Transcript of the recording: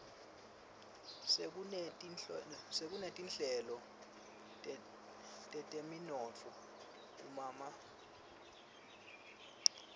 sekunetinhlelo teteminotfo kumaboakudze